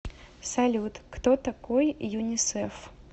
салют кто такой юнисеф